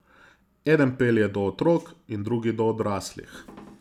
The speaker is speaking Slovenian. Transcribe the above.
Eden pelje do otrok in drugi do odraslih.